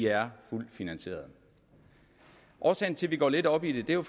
er fuldt finansieret årsagen til at vi går lidt op i det er jo